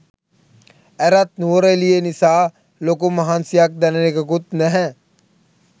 ඇරත් නුවරඑලියේ නිසා ලොකු මහන්සියක් දැනෙන එකකුත් නැහැ